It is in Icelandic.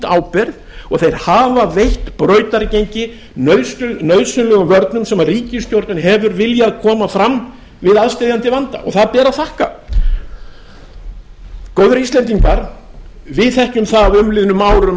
ábyrgð og þeir hafa veitt brautargengi nauðsynlegum vörnum sem ríkisstjórnin hefur viljað koma fram við aðsteðjandi vanda og það ber að þakka góðir íslendingar við þekkjum það af umliðnum árum